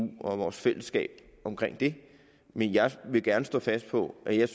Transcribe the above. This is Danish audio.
og vores fællesskab omkring det men jeg vil gerne stå fast på at jeg